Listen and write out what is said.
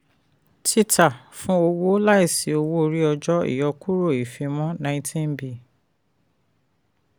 títa fún owó láìsí owó orí ọjọ́ ìyọkúrò ìfimọ́ 19b.